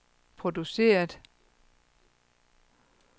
produceret